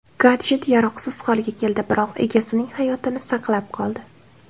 Gadjet yaroqsiz holga keldi, biroq egasining hayotini saqlab qoldi.